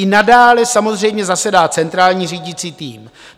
I nadále samozřejmě zasedá centrální řídící tým.